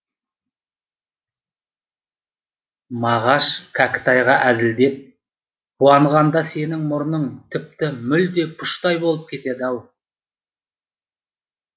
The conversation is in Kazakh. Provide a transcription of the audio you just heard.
мағаш кәкітайға әзілдеп қуанғанда сенің мұрның тіпті мүлде пұштай болып кетеді ау